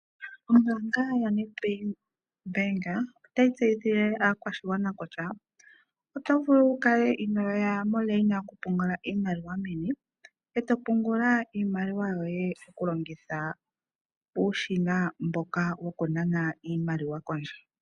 Ombanga ya NedBank otayi tesyithile aakwashigwana kutya, oto vulu oku kala inoya momikweyo dho ku pungula iimaliwa meni, eto pungula iimaliwa yoye oku longitha uushina mboka woku nana iimaliwa pondje.